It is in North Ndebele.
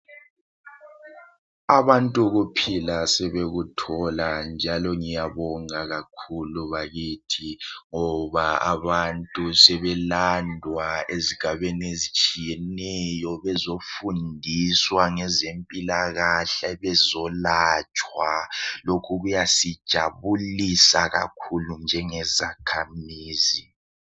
Abantu ukuphila sebekuthola njalo ngiyabonga kakhulu bakithi ngoba abantu sebelandwa ezigabeni ezitshiyeneyo bezofundiswa ngezempilakahle bezolatshwa lokhu kuyasijabulisa kakhulu njengezakhamizi.